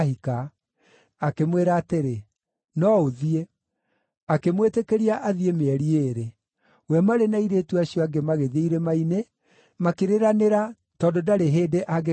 Akĩmwĩra atĩrĩ, “No ũthiĩ.” Akĩmwĩtĩkĩria athiĩ mĩeri ĩĩrĩ. We marĩ na airĩtu acio angĩ magĩthiĩ irĩma-inĩ, makĩrĩranĩra tondũ ndarĩ hĩndĩ angĩkaahika.